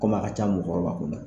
Kom'a a ka ca mɔgɔkɔrɔba kunda